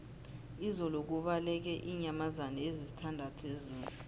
izolo kubaleke iinyamazana ezisithandathu ezoo